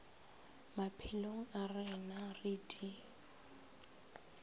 maphelong a rena re di